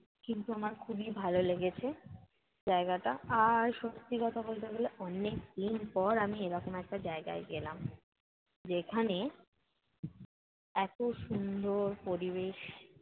কিন্তু আমার খুবই ভালো লেগেছে জায়গাটা আর, সত্যি কথা বলতে গেলে অনেক দিন পর আমি এরকম একটা জায়গায় গেলাম। যেখানে এত সুন্দর পরিবেশ